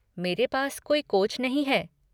मेरे पास कोई कोच नहीं है।